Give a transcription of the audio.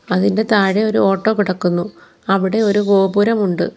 അതിൻ്റെ താഴെ ഒരു ഓട്ടോ കിടക്കുന്നു അവിടെ ഒരു ഗോപുരമുണ്ട്.